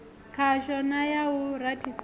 khasho na ya u rathisela